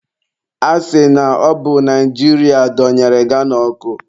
A sị na ọbụ Naijiria donyere Ghana ọkụ.